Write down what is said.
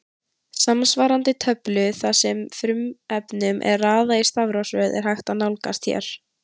Samsvarandi töflu þar sem frumefnunum er raðað í stafrófsröð er hægt að nálgast hér.